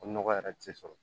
O nɔgɔ yɛrɛ tɛ sɔrɔ